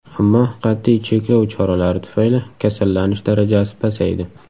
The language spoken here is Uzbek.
Ammo qat’iy cheklov choralari tufayli kasallanish darajasi pasaydi.